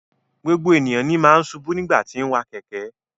Gbogbo ènìyàn ní máa n ṣubu nigbati ti n wa kẹkẹ.